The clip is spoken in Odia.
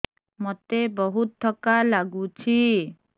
ମୋତେ ବହୁତ୍ ଥକା ଲାଗୁଛି